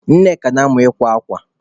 Nnenna na-amụ ịkwa akwa.